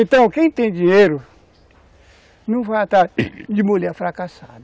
Então, quem tem dinheiro não vai estar de mulher fracassada.